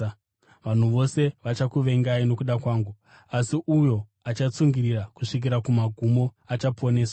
Vanhu vose vachakuvengai nokuda kwangu, asi uyo achatsungirira kusvikira kumagumo achaponeswa.